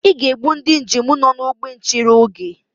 I ga-egbu ndị njem nọ n'ógbè nchere oge